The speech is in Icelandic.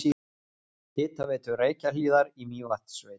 Hitaveitu Reykjahlíðar í Mývatnssveit.